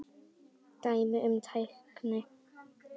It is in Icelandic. Dæmi um tækni